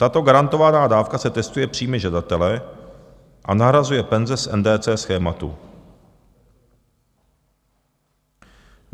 Tato garantovaná dávka se testuje příjmy žadatele a nahrazuje penze z NDC schématu.